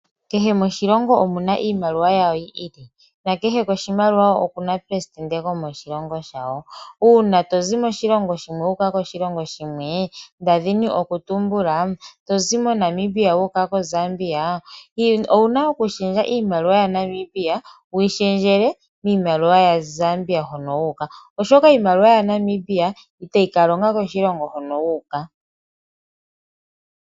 Kehe oshilongo oshina iimaliwa yawo yi ili nakehe koshimaliwa okuna okuna presidente gomoshilongo shawo. Uuna tozi moshilongo shimwe wuuka koshilongo shimwe nda dhini okutumbula tozi mo Namibia wuuka ko Zambia, ouna okushendja iimaliwa ya Namibia wuyi shendjele miimaliwa ya Zambia hono wuuka, oshoka iimaliwa ya Namibia itayi ka longa koshilongo hono wuuka.